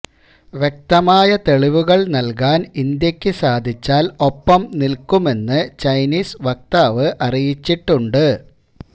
വ്യക്തമായ തെളിവുകള് നല്കാന് ഇന്ത്യയ്ക്ക് സാധിച്ചാല് ഒപ്പം നില്ക്കുമെന്ന് ചൈനീസ് വക്താവ് അറിയിച്ചിട്ടുണ്ട്